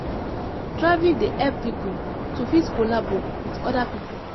Traveling dey help pipo to fit collabo with other pipo